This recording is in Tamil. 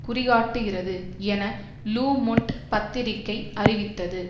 குறிகாட்டுகிறது என லு மொன்ட் பத்திரிகை அறிவித்தது